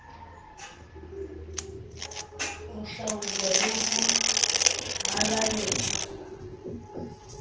ho hlwauwang le ho halaletsa